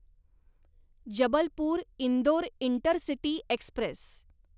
Jabalpur Indore intercity Express